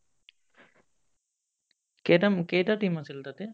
কেইটাম কেইটা team আছিল তাতে